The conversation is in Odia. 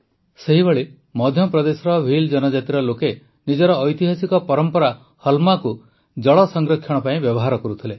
ସେହିଭଳି ମଧ୍ୟପ୍ରଦେଶର ଭିଲ୍ ଜନଜାତିର ଲୋକେ ନିଜର ଐତିହାସିକ ପରମ୍ପରା ହଲ୍ମାକୁ ଜଳ ସଂରକ୍ଷଣ ପାଇଁ ବ୍ୟବହାର କରୁଥିଲେ